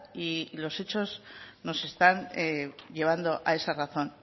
y los hechos nos están llevando a esa razón